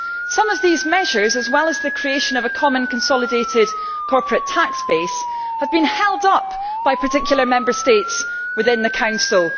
Some of these measures, as well as the creation of a common consolidated corporate tax base, have been held up by particular Member States within the Council.